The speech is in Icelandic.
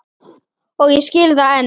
Og ég skil það enn.